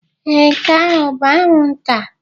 Ee, nke ahụ bụ anwụnta.